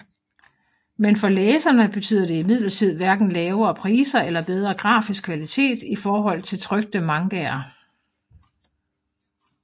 Men for læserne betyder det imidlertid hverken lavere priser eller bedre grafisk kvalitet i forhold til trykte mangaer